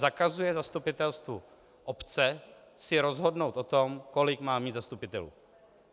Zakazuje zastupitelstvu obce si rozhodnout o tom, kolik má mít zastupitelů.